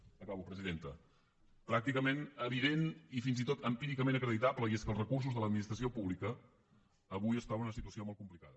acabo presidenta pràcticament evidentment i fins i tot empíricament acreditable i és que els recursos de l’administració pública avui es troben en una situació molt complicada